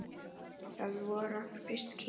Það voru okkar fyrstu kynni.